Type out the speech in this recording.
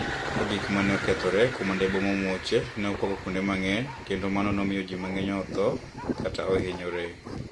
Gik ma ni e okethore kani e bom nomuoche ni e okwako kuonide manig'eniy, kenido mano ni e omiyo ji manig'eniy otho kata ohiniyore.